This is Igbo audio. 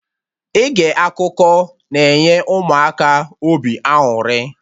Ige akụkọ na-enye Ụmụaka obi aṅụrị